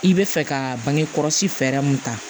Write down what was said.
I bɛ fɛ ka bange kɔlɔsi fɛɛrɛ mun ta